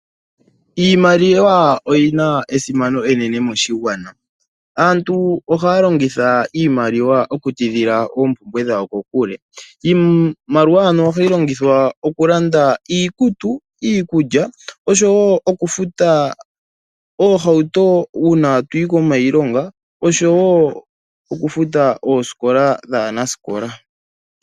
Iimaliwa oyina esimano enene moshigwana. Aantu ohaya longitha iimaliwa oku tidhila oompumbwe dhawo kokule. Iimaliwa ohayi longithwa oku landa iikutu, iikulya oshowo okufuta oohauto ngele aantu taya yi kiilonga nokufuta ooskola dhaanaskola.